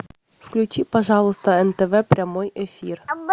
включи пожалуйста нтв прямой эфир